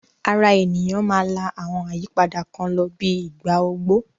Ara ènìyàn máa la àwọn àyípadà kan lọ bíi ìgbà ogbó